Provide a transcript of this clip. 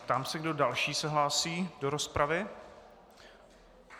Ptám se, kdo další se hlásí do rozpravy.